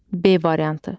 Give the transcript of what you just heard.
B variantı.